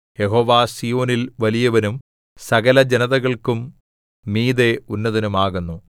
യഹോവ സീയോനിൽ വലിയവനും സകലജനതകൾക്കും മീതെ ഉന്നതനും ആകുന്നു